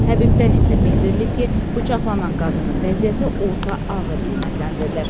Təbibdən isə bildirilib ki, bıçaqlanan qadının vəziyyəti orta ağır qiymətləndirilir.